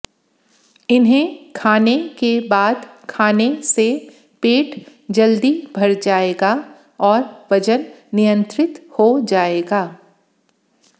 इन्हें खाने के बाद खाने से पेट जल्दी भर जाएगा और वजन नियंत्रित हो जाएगा